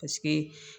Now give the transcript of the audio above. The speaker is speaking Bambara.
Paseke